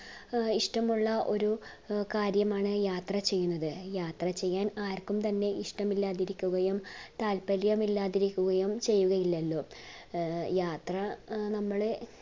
ഇഷ്ടമുള്ള ഒരു അഹ് കാര്യമാണ് യാത്ര ചെയ്യുന്നത് യാത്ര ചെയ്യാൻ ആർക്കും തന്നെ ഇഷ്ടമില്ലാതിരിക്കുകയും താല്പര്യം ഇല്ലാതിരിക്കുകയും ചെയ്യുകയില്ലലോ അഹ് യാത്ര നമ്മടെ